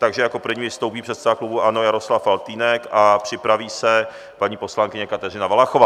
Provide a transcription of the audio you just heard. Takže jako první vystoupí předseda klubu ANO Jaroslav Faltýnek a připraví se paní poslankyně Kateřina Valachová.